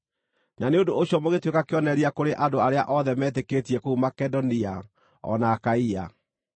Na nĩ ũndũ ũcio mũgĩtuĩka kĩonereria kũrĩ andũ arĩa othe metĩkĩtie kũu Makedonia, o na Akaia.